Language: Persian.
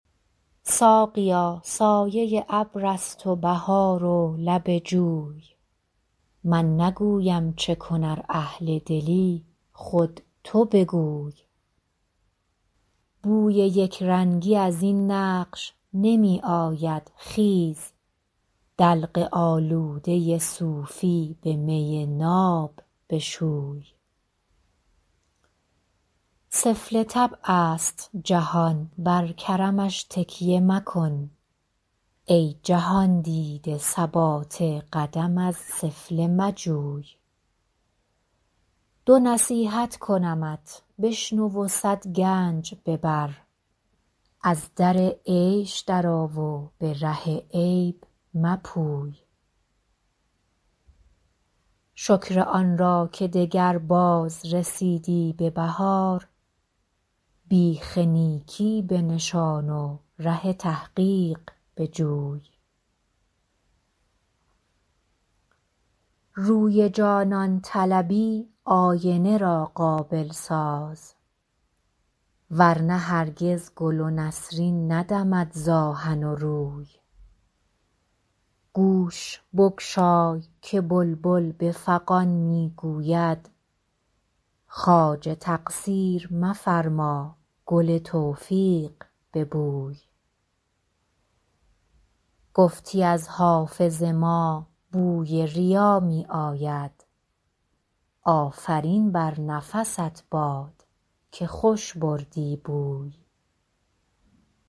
ساقیا سایه ابر است و بهار و لب جوی من نگویم چه کن ار اهل دلی خود تو بگوی بوی یک رنگی از این نقش نمی آید خیز دلق آلوده صوفی به می ناب بشوی سفله طبع است جهان بر کرمش تکیه مکن ای جهان دیده ثبات قدم از سفله مجوی دو نصیحت کنمت بشنو و صد گنج ببر از در عیش درآ و به ره عیب مپوی شکر آن را که دگربار رسیدی به بهار بیخ نیکی بنشان و ره تحقیق بجوی روی جانان طلبی آینه را قابل ساز ور نه هرگز گل و نسرین ندمد ز آهن و روی گوش بگشای که بلبل به فغان می گوید خواجه تقصیر مفرما گل توفیق ببوی گفتی از حافظ ما بوی ریا می آید آفرین بر نفست باد که خوش بردی بوی